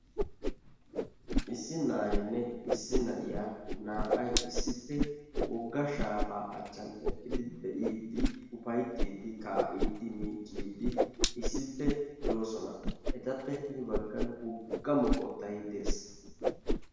Issi na'aynne issi na'iya naa"ay issippe wogga shaafaa achchan eqqidi be'iidi ufayttiidi kaa'iidi miicciidi issippe de'oosona, etappe hini baggaan wogga moqqottay de'ees.